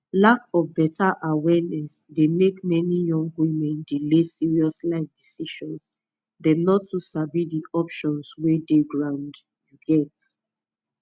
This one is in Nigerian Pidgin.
lack of better awareness dey make many young women delay serious life decisions dem no too sabi di options wey dey ground you get